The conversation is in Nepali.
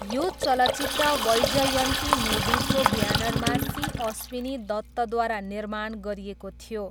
यो चलचित्र वैजयन्ती मुभिजको ब्यानरमा सी अश्विनी दत्तद्वारा निर्माण गरिएको थियो।